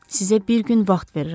Sizə bir gün vaxt verirəm.